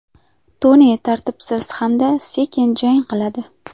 Toni tartibsiz hamda sekin jang qiladi.